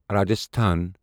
Rajasthan